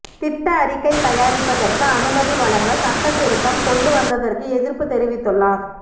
திட்ட அறிக்கை தயாரிப்பதற்கு அனுமதி வழங்க சட்டத்திருத்தம் கொண்டு வந்ததற்கு எதிர்ப்பு தெரிவித்துள்ளார்